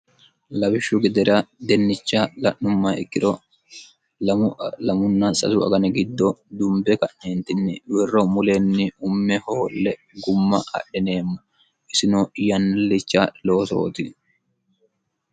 labishshu gidera dennicha la'numma ikkiro lamunna sasu agane giddo dumbe ka'yeentinni wirro muleenni umme hoolle gumma adhineemmo isino yaillicha loosooti